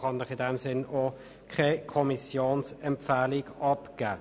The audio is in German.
Deshalb kann ich Ihnen keine Kommissionsempfehlung abgeben.